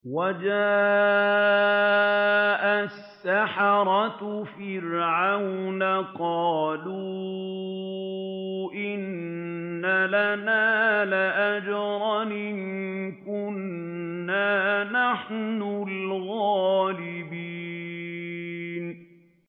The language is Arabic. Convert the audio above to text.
وَجَاءَ السَّحَرَةُ فِرْعَوْنَ قَالُوا إِنَّ لَنَا لَأَجْرًا إِن كُنَّا نَحْنُ الْغَالِبِينَ